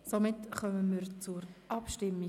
Somit kommen wir zur Abstimmung.